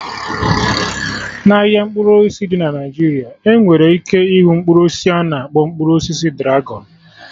n'ahịa mkpụrụ osisi dị na Naijiria, ebere ike ịhụ Mkpụrụ osisi a na-akpọ mkpụrụ osisi dragọn